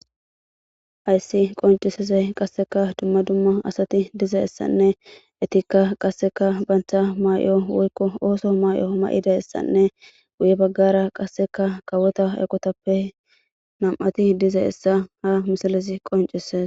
Ayssi qoncisese qasseka dumma dumma asati diza essanne etikka qasseka bantha may'o woykko ooso may'o ma'ida essanne guye baggara qasseka kawota eqotappe nam'ati diza essa ha misilisi qoncises.